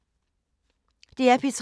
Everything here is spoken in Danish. DR P3